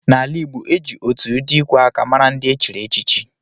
Na ala igbo, e ji otù ụdị ikwè áká màrà ndị echiri échichi